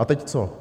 A teď co?